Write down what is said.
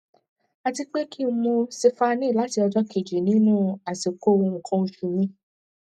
àti pé kí n mú siphane láti ọjọ kejì nínú àsìkò nǹkan oṣù mi